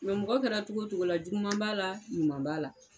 Mɛ mɔgɔ kɛra cogo o cogo la, juguman b'a la ɲuman b'a la.